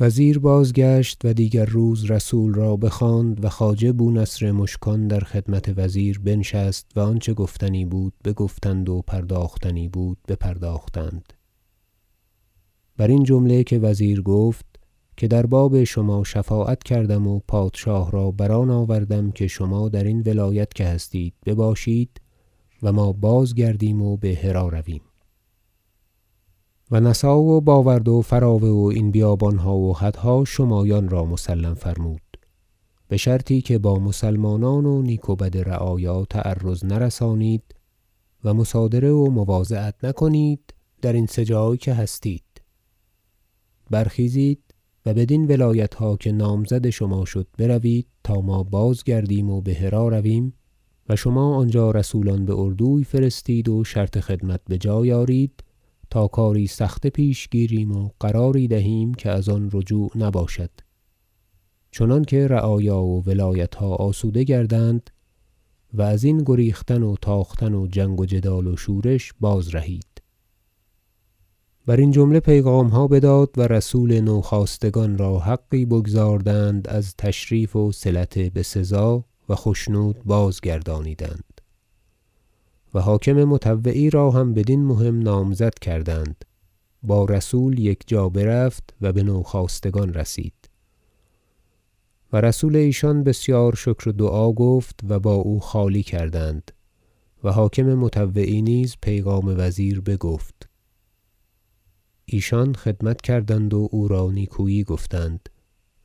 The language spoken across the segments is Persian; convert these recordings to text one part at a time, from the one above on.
وزیر بازگشت و دیگر روز رسول را بخواند و خواجه بو نصر مشکان در خدمت وزیر بنشست و آنچه گفتنی بود بگفتند و پرداختنی بود بپرداختند برین جمله که وزیر گفت که در باب شما شفاعت کردم و پادشاه را بر آن آوردم که شما درین ولایت که هستید بباشید و ما بازگردیم و به هری رویم و نسا و باورد و فراوه و این بیابانها و حدها شمایان را مسلم فرمود بشرطی که با مسلمانان و نیک و بد رعایا تعرض نرسانید و مصادره و مواضعت نکنید درین سه جای که هستید برخیزید و بدین ولایتها که نامزد شما شد بروید تا ما بازگردیم و به هری رویم و شما آنجا رسولان باردوی فرستید و شرط خدمت بجای آرید تا کاری سخته پیش گیریم و قراری دهیم که از آن رجوع نباشد چنانکه رعایا و ولایتها آسوده گردند و ازین گریختن و تاختن و جنگ و جدال و شورش بازرهید برین جمله پیغامها بداد و رسول نوخاستگان را حقی بگزاردند از تشریف وصلت بسزا و خشنود بازگردانیدند و حاکم مطوعی را هم بدین مهم نامزد کردند با رسول یکجا برفت و بنوخاستگان رسید و رسول ایشان بسیار شکر و دعا گفت و با او خالی کردند و حاکم مطوعی نیز پیغام وزیر بگفت ایشان خدمت کردند و او را نیکویی گفتند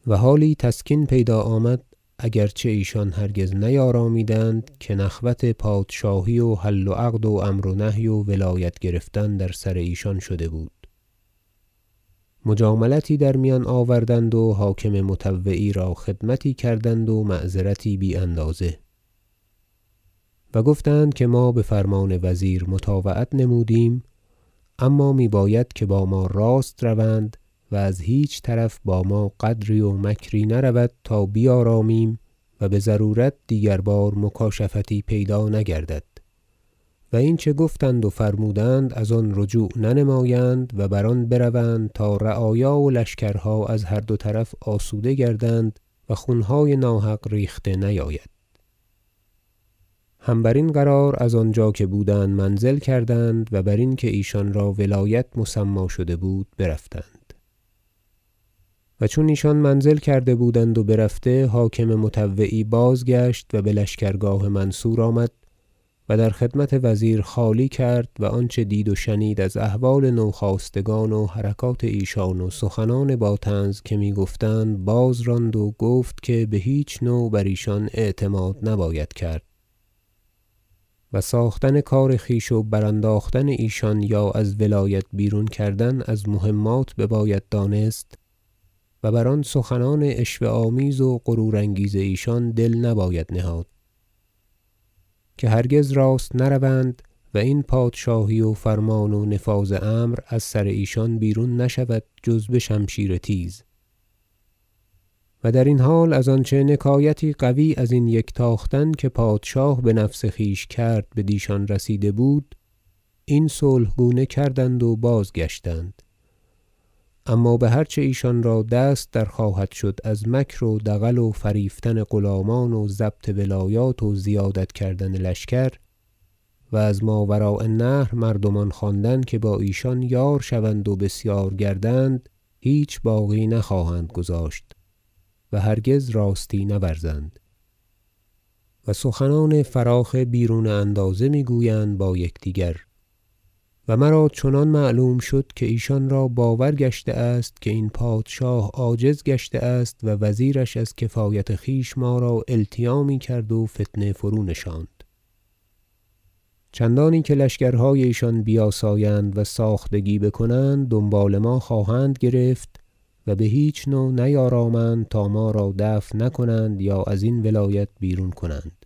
و حالی تسکین پیدا آمد اگر چه ایشان هرگز نیارامیدند که نخوت پادشاهی و حل و عقد و امر و نهی و ولایت گرفتن در سرایشان شده بود مجاملتی در میان آوردند و حاکم مطوعی را خدمتی کردند با معذرتی بی- اندازه و گفتند که ما بفرمان وزیر مطاوعت نمودیم اما میباید که با ما راست روند و از هیچ طرف با ما غدری و مکری نرود تا بیارامیم و بضرورت دیگر بار مکاشفتی پیدا نگردد و اینچه گفتند و فرمودند از آن رجوع ننمایند و بر آن بروند تا رعایا و لشکرها از هر دو طرف آسوده گردند و خونهای ناحق ریخته نیاید هم برین قرار از آنجا که بودند منزل کردند و برین که ایشان را ولایت مسمی شده بود برفتند و چون ایشان منزل کرده بودند و برفته حاکم مطوعی بازگشت و بلشکرگاه منصور آمد و در خدمت وزیر خالی کرد و آنچه دید و شنید از احوال نوخاستگان و حرکات ایشان و سخنان با طنز که میگفتند بازراند و گفت که بهیچ نوع بر ایشان اعتماد نباید کرد و ساختن کار خویش و برانداختن ایشان یا از ولایت بیرون کردن از مهمات بباید دانست و بر آن سخنان عشوه آمیز و غرورانگیز ایشان دل نباید نهاد که هرگز راست نروند و این پادشاهی و فرمان و نفاذ امر از سر ایشان بیرون نشود جز بشمشیر تیز و درین حال از آنچه نکایتی قوی ازین یک تاختن که پادشاه بنفس خویش کرد بدیشان رسیده بود این صلح گونه کردند و بازگشتند اما بهر چه ایشان را دست در خواهد شد از مکر و دغل و فریفتن غلامان و ضبط ولایات و زیادت کردن لشکر و از ماوراء النهر مردمان خواندن که با ایشان یار شوند و بسیار گردند هیچ باقی نخواهند گذاشت و هرگز راستی نورزند و سخنان فراخ بیرون اندازه میگویند با یکدیگر و مرا چنان معلوم شد که ایشان را باور گشته است که این پادشاه عاجز گشته است و وزیرش از کفایت خویش ما را التیامی کرد و فتنه فرونشاند چندانی که لشکرهای ایشان بیاسایند و ساختگی بکنند دنبال ما خواهند گرفت و بهیچ نوع نیارامند تا ما را دفع نکنند یا ازین ولایت بیرون کنند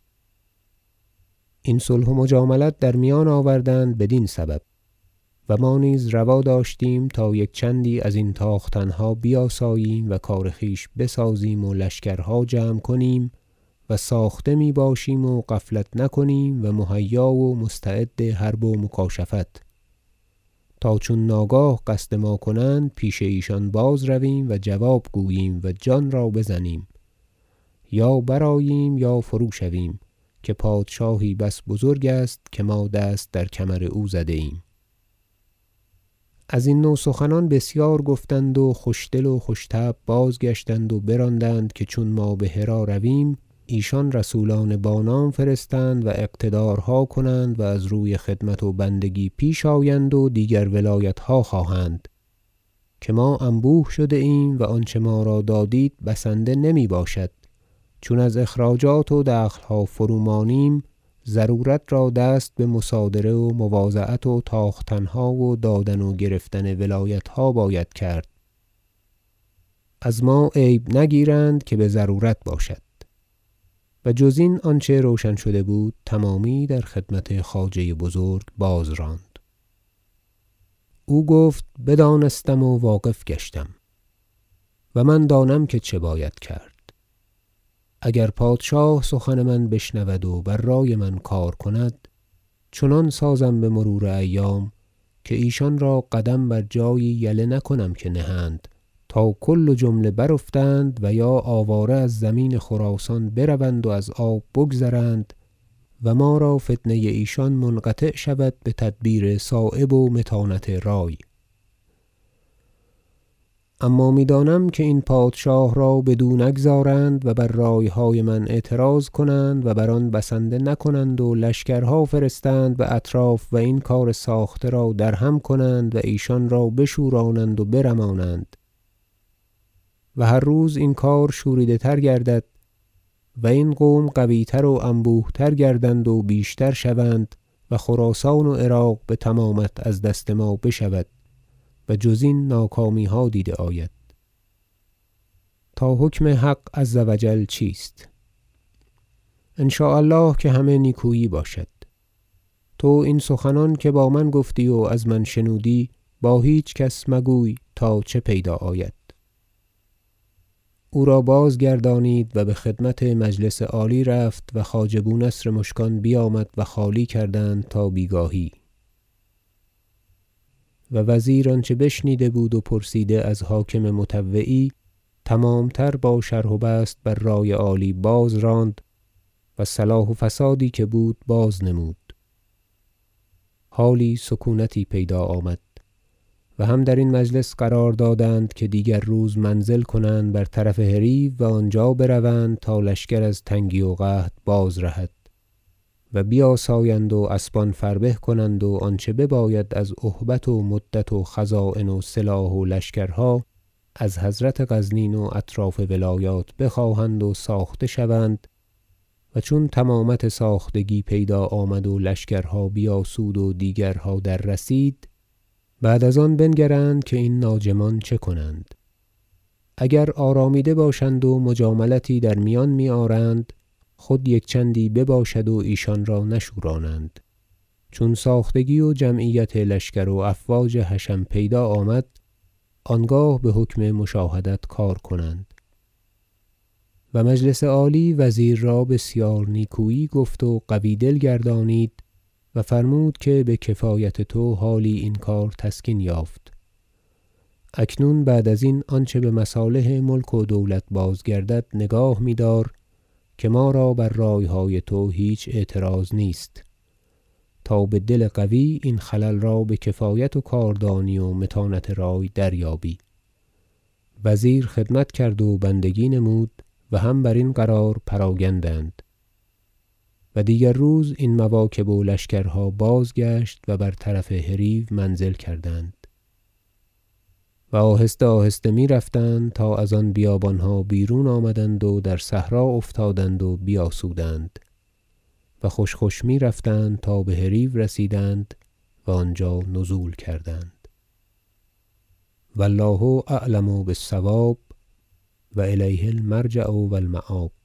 این صلح و مجاملت در میان آوردند بدین سبب و ما نیز روا داشتیم تا یک چندی ازین تاختنها بیاساییم و کار خویش بسازیم و لشکرها جمع کنیم و ساخته میباشیم و غفلت نکنیم و مهیا و مستعد حرب و مکاشفت تا چون ناگاه قصد ما کنند پیش ایشان باز رویم و جواب گوییم و جان را بزنیم یا برآییم یا فروشویم که پادشاهی بس بزرگ است که ما دست در کمر او زده ایم ازین نوع سخنان بسیار گفتند و خوش دل و خوش طبع بازگشتند و براندند که چون ما به هری رویم ایشان رسولان با نام فرستند و اقتدارها کنند و از روی خدمت و بندگی پیش آیند و دیگر ولایتها خواهند که ما انبوه شده ایم و آنچه ما را دادید بسنده نمیباشد چون از اخراجات و دخلها فرومانیم ضرورت را دست بمصادره و مواضعت و تاختنها و دادن و گرفتن ولایتها باید کرد از ما عیب نگیرند که بضرورت باشد و جز این آنچه روشن شده بود تمامی در خدمت خواجه بزرگ بازراند او گفت بدانستم و واقف گشتم و من دانم که چه باید کرد اگر پادشاه سخن من بشنود و بر رای من کار کند چنان سازم بمرور ایام که ایشان را قدم بر جایی یله نکنم که نهند تا کل و جمله برافتند و یا آواره از زمین خراسان بروند و از آب بگذرند و ما را فتنه ایشان منقطع شود بتدبیر صایب و متانت رای اما میدانم که این پادشاه را بدو نگذارند و بر رایهای من اعتراض کنند و بر آن بسنده نکنند و لشکرها فرستند باطراف و این کار ساخته را درهم کنند و ایشان را بشورانند و برمانند و هر روز این کار شوریده تر گردد و این قوم قویتر و انبوه تر گردند و بیشتر شوند و خراسان و عراق بتمامت از دست ما بشود و جز این ناکامیها دیده آید تا حکم حق عز و جل چیست ان شاء الله که همه نیکویی باشد تو این سخنان که با من گفتی و از من شنودی با هیچ کس مگوی تا چه پیدا آید او را بازگردانیدند و بخدمت مجلس عالی رفت و خواجه بو نصر مشکان بیامد و خالی کردند تا بیگاهی و وزیر آنچه بشنیده بود و پرسیده از حاکم مطوعی تمام تر با شرح و بسط بر رای عالی بازراند و صلاح و فسادی که بود بازنمود حالی سکونتی پیدا آمد و هم درین مجلس قرار دادند که دیگر روز منزل کنند برطرف هریو و آنجا بروند تا لشکر از تنگی و قحط باز رهد و بیاسایند و اسبان فربه کنند و آنچه بباید از اهبت و عدت و خزاین و سلاح و لشکرها از حضرت غزنین و اطراف ولایات بخواهند و ساخته شوند و چون تمامت ساختگی پیدا آمد و لشکرها بیاسود و دیگرها در رسید بعد از آن بنگرند که این ناجمان چه کنند اگر آرامیده باشند و مجاملتی در میان میآرند خود یک چندی بباشد و ایشان را نشورانند چون ساختگی و جمعیت لشکر و افواج حشم پیدا آمد آنگاه بحکم مشاهدت کار کنند و مجلس عالی وزیر را بسیار نیکویی گفت و قوی دل گردانید و فرمود که بکفایت تو حالی این کار تسکین یافت اکنون بعد ازین آنچه بمصالح ملک و دولت بازگردد نگاه میدار که ما را بر رایهای تو هیچ اعتراض نیست تا بدل قوی این خلل را بکفایت و کاردانی و متانت رای دریابی وزیر خدمت کرد و بندگی نمود و هم برین قرار پراگندند و دیگر روز این مواکب و لشکرها بازگشت و برطرف هریو منزل کردند و آهسته- آهسته میرفتند تا از آن بیابانها بیرون آمدند و در صحرا افتادند و بیاسودند و خوش خوش میرفتند تا به هریو رسیدند و آنجا نزول کردند و الله اعلم بالصواب و الیه المرجع و المآب